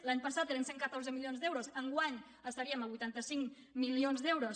l’any passat eren cent i catorze milions d’euros enguany estaríem a vuitanta cinc mi·lions d’euros